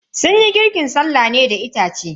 Sunyi girkin sallah ne a da itace.